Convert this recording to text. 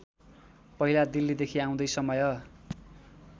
पहिला दिल्लीदेखि आउँदै समय